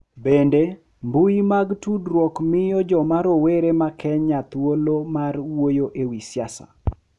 Bende, mbui mag tudruok miyo joma rowere ma Kenya thuolo mar wuoyo e wi siasa .